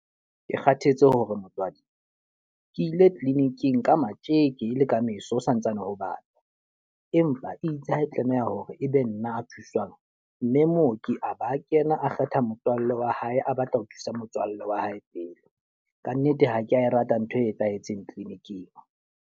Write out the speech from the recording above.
Ke kgathetse hore motswadi. Ke ile clinic-ing ka matjeke e le ka meso ho santsane ho bata. Empa itse ha e tlameha hore e be nna a thuswang. Mme mooki a ba a kena a kgetha motswallle wa hae, a batla ho thusa motswallle wa hae pele. Ka nnete ha ke a e rata ntho e etsahetseng clinic-ing.